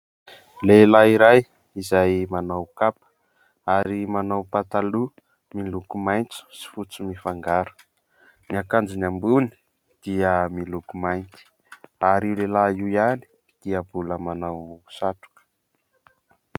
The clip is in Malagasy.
Lehilahy iray izay manao kapa ary manao pataloha miloko maintso sy fotsy mifangaro, ny akanjony ambony dia miloko mainty, ary io lehilahy iray ihany dia mbola manao satroka.